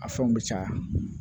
A fɛnw bɛ caya